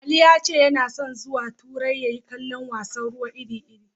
Ali ya ce yana son zuwa turai ya yi kallon wasan ruwa iri-iri.